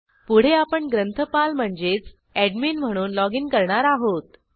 पुढे आपण ग्रंथपाल म्हणजेच एडमिन म्हणून लॉगिन करणार आहोत